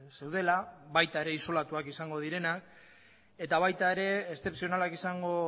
zeudela baita ere isolatuak izango direnak eta baita ere eszepzionalak izango